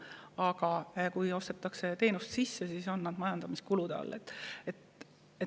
Aga kui ostetakse teenust sisse, siis on need kulud majandamiskulude all.